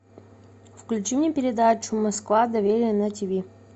включи мне передачу москва доверие на тиви